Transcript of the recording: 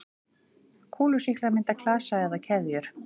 Kúlusýklar mynda klasa eða keðjur.